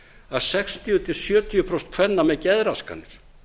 að sextíu til sjötíu prósent kvenna með geðraskanir